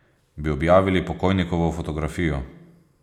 Bi objavili pokojnikovo fotografijo?